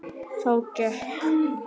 Þá gekk